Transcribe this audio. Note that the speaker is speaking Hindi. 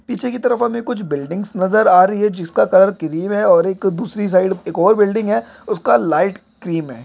पीछे की तरफ हमे कुछ बिल्डिंग्स नजर आ रही है जिसका कलर क्रीम है और एक दूसरी साइड एक और बिल्डिंग है उसका लाइट क्रीम है।